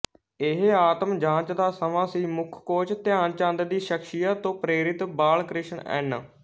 ਇਹ ਆਤਮਜਾਂਚ ਦਾ ਸਮਾਂ ਸੀ ਮੁੱਖ ਕੋਚ ਧਿਆਨ ਚੰਦ ਦੀ ਸ਼ਖਸੀਅਤ ਤੋਂ ਪ੍ਰੇਰਿਤ ਬਾਲਕ੍ਰਿਸ਼ਨ ਐਨ